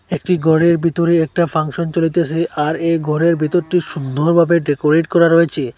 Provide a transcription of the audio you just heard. একটি ঘরের ভিতরে একটা ফাংশন চলিতেছে আর এই ঘরের ভেতরটি সুন্দরভাবে ডেকোরেট করা রয়েছে।